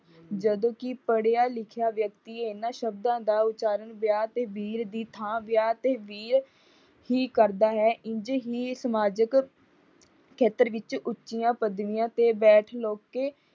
ਜਦੋਂ ਕਿ ਪੜਿਆ ਲਿਖਿਆ ਵਿਅਕਤੀ ਇਨ੍ਹਾਂ ਸਬਦਾਂ ਦਾ ਉਚਾਰਨ ਬਿਆਹ ਤੇ ਬੀਰ ਦੀ ਥਾਂ ਵਿਆਹ ਤੇ ਵੀਰ ਹੀ ਕਰਦਾ ਹੈ। ਇੰਝ ਹੀ ਸਮਾਜਿਕ ਖੇਤਰ ਵਿੱਚ ਉੱਚੀਆਂ ਪਦਵੀਆਂ ਤੇ ਬੈਠ ਲੁੱਕ ਕੇ